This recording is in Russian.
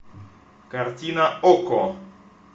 картина окко